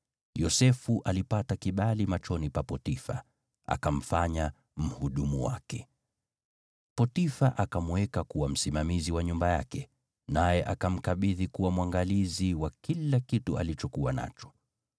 Yosefu alipata kibali machoni pa Potifa, akamfanya mhudumu wake. Potifa akamweka kuwa msimamizi wa nyumba yake, naye akamkabidhi kuwa mwangalizi wa kila kitu alichokuwa nacho.